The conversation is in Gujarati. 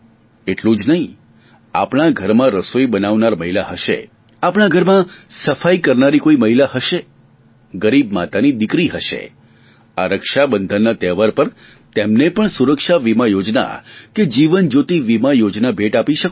એટલું જ નહીં આપણા ઘરમાં રસોઇ બનાવનાર મહીલા હશે આપણા ઘરમાં સફાઈ કરનારી કોઈ મહીલા હશે ગરીબ માતાની દિકરી હશે આ રક્ષાબંધનના તહેવાર પર તેમને પણ સુરક્ષા બીમા યોજના કે જીવનજ્યોતિ બીમા યોજના ભેટ આપી શકો છો